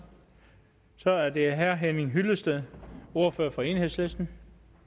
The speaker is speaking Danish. så er det herre henning hyllested ordfører for enhedslisten